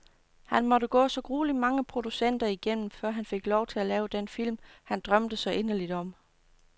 Han måtte gå så grueligt mange producenter igennem, før han fik lov til at lave den film, han drømte så inderligt om.